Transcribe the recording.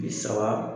Bi saba